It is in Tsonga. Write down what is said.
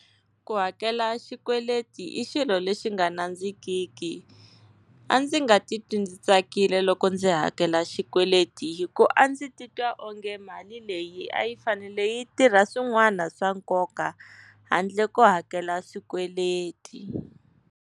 Ku hakela xikweleti i xilo lexi nga nandzikiki, a ndzi nga titwi ndzi tsakile loko ndzi hakela xikweleti, hi ku a ndzi titwa onge mali leyi a yi fanele yi tirha swin'wana swa nkoka handle ko hakela swikweleti.